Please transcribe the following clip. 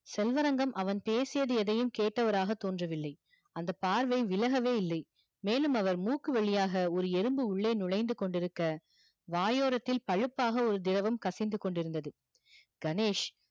செல்வரங்கம் அவன் பேசியது எதையும் கேட்டவராக தோன்றவில்லை அந்த பார்வை விலகவே இல்லை மேலும் அவர் மூக்கு வழியாக ஒரு எறும்பு உள்ளே நுழைந்து கொண்டிருக்க வாயோரத்தில் பழுப்பாக ஒரு திரவம் கசிந்து கொண்டிருந்தது கணேஷ்